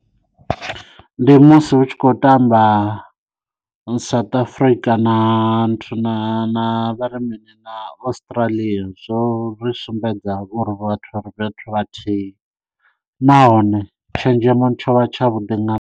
Ndi musi hu tshi khou tamba South Africa na nthu na na vharimini na Australia zwo ri sumbedza uri vhathu vha ri fhethu vhathihi nahone tshenzhemo tsho vha tsha vhuḓi na.